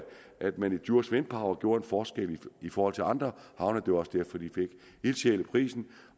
at man i djurs wind power gjorde en forskel i forhold til andre og det var også derfor de fik ildsjæleprisen